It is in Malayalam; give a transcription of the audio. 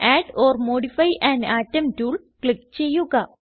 add or modify an atom tool click ചെയ്യുക